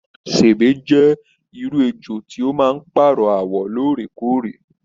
Sèbé jẹ irú ejò tí o máa n paarọ awọ lóòrèkóòrè.